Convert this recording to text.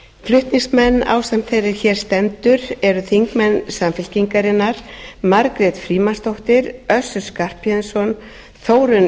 flutningsmenn ásamt þeirri er hér stendur eru þingmenn samfylkingarinnar margrét frímannsdóttir össur skarphéðinsson þórunn